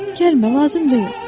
Gəlmə, lazım deyil.